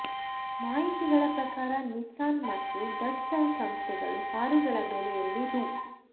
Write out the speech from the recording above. ಮಾಹಿತಿಗಳ ಪ್ರಕಾರ ನಿಸ್ಸಾನ್ ಮತ್ತು ದಟ್ಸನ್ ಸಂಸ್ಥೆಗಳು ಕಾರುಗಳ ಬೆಲೆಯಲ್ಲಿ ರೂ